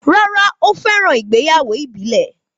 Rárá, ó fẹ́ràn ìgbéyàwó ìbílẹ̀